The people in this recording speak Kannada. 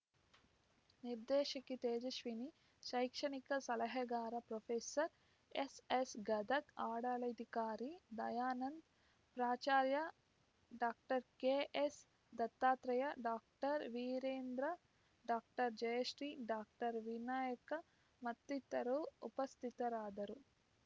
ನಿರ್ದೇಶಕಿ ತೇಜಸ್ವಿನಿ ಶೈಕ್ಷಣಿಕ ಸಲಹೆಗಾರ ಪ್ರೊಫೆಸರ್ ಎಸ್‌ಎಸ್‌ ಗದಗ್‌ ಆಡಳಿತಾಧಿಕಾರಿ ದಯಾನಂದ್‌ ಪ್ರಾಚಾರ್ಯ doctor K S Dattatri doctor Veerendra doctor Jayashree doctor Vinayak ಮತ್ತಿತರರು ಉಪಸ್ಥಿತರಾದರು